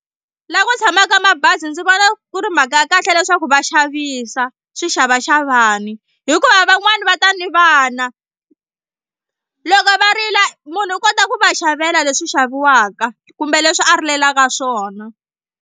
Laha ku tshamaka mabazi ndzi vona ku ri mhaka ya kahle leswaku va xavisa swixavaxavani hikuva van'wani va ta ni vana loko va rila munhu u kota ku va xavela leswi xaviwaka kumbe leswi a rilelaka swona.